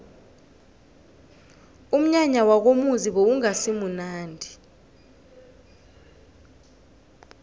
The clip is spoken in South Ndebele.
umnyanya wakomuzi bewungasimunandi